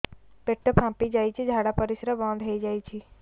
ପେଟ ଫାମ୍ପି ଯାଇଛି ଝାଡ଼ା ପରିସ୍ରା ବନ୍ଦ ହେଇଯାଇଛି